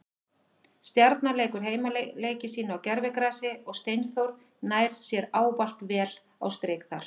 Stjarnan leikur heimaleiki sína á gervigrasi og Steinþór nær sér ávalt vel á strik þar.